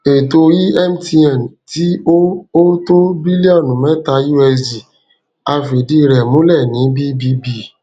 ètò emtn tí ó ó tó bílíọnù meta usd a fìdí rẹ múlẹ ní bbb